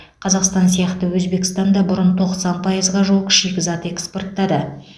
қазақстан сияқты өзбекстан да бұрын тоқсан пайызға жуық шикізат экспорттады